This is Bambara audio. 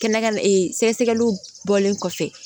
Kɛnɛ kan ka sɛgɛsɛgɛliw bɔlen kɔfɛ